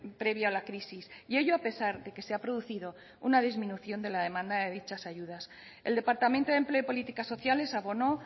previo a la crisis y ello a pesar de que se ha producido una disminución de la demanda de dichas ayudas el departamento de empleo y políticas sociales abonó